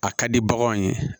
A ka di baganw ye